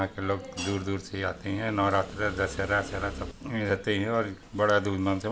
यहाँ के लोग दूर-दूर से आते है नवरात्र दशहरा वशहरा में रहते है और बड़ा धूमधाम से बना--